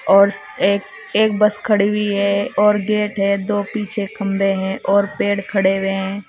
और एक एक बस खड़ी हुई है और गेट है दो पीछे खंभे है और पेड़ खड़े हुए हैं।